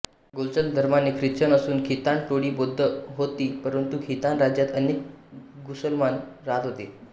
गुलचग धर्माने ख्रिश्चन असून खितान टोळी बौद्ध होती परंतु खितान राज्यात अनेक मुसलमान राहात होते